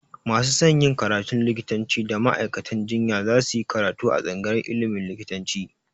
Masu son yin karatun likitanci da ma'aikatan jinya za su yi karatu a tsangayar ilimin likitanci